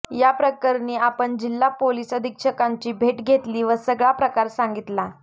या प्रकरणी आपण जिल्हा पोलीस अधीक्षकांची भेट घेतली व सगळा प्रकार सांगितला